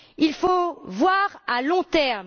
Il faut voir à long terme.